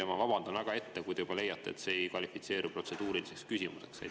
Ja ma vabandan ette, kui te leiate, et see ei kvalifitseeru protseduuriliseks küsimuseks.